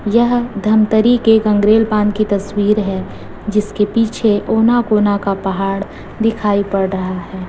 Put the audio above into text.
यह धमतरी के गंगरेल बांध की तस्वीर है जिसके पीछे ओना कोना का पहाड़ दिखाई पड़ रहा है।